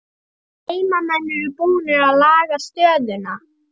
Heimamenn eru búnir að laga stöðuna